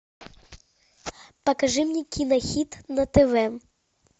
покажи мне кинохит на тв